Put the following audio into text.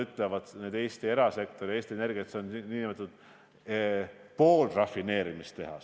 See peab veel kuskile töötlemisse minema, milleks Eestis võimalust ei ole, ja alles siis saab seda laevade ja rongide kütusepaaki panna.